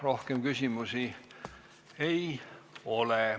Rohkem küsimusi ei ole.